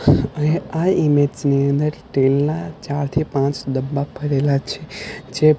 આ ઈમેજ ની અંદર તેલના ચારથી પાંચ ડબ્બા ભરેલા છે જે--